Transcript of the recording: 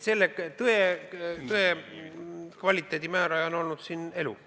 Selle tõe kvaliteedi määraja on olnud elu.